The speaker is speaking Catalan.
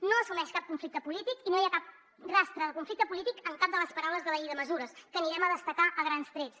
no assumeix cap conflicte polític i no hi ha cap rastre de conflicte polític en cap de les paraules de la llei de mesures que anirem a destacar a grans trets